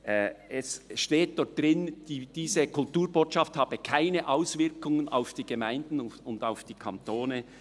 Dort steht, diese Kulturbotschaft habe keine Auswirkungen auf die Gemeinden und Kantone.